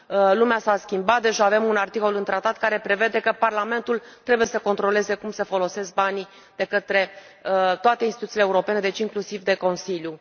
Lumea s a schimbat, deja avem un articol în tratat care prevede că Parlamentul trebuie să controleze cum se folosesc banii de către toate instituțiile europene, deci, inclusiv de Consiliu.